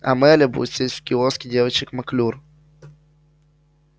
а мелли будет сидеть в киоске девочек маклюр